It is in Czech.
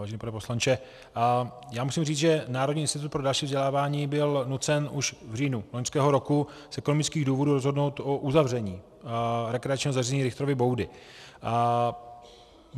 Vážený pane poslanče, já musím říct, že Národní institut pro další vzdělávání byl nucen už v říjnu loňského roku z ekonomických důvodů rozhodnout o uzavření rekreačního zařízení Richtrovy boudy.